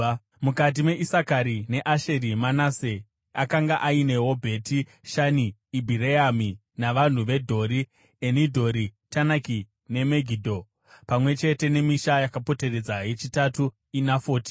Mukati meIsakari neAsheri, Manase akanga ainewo Bheti Shani, Ibhireami navanhu veDhori, Enidhori, Tanaki neMegidho, pamwe chete nemisha yakapoteredza (yechitatu pakuverengwa iNafoti).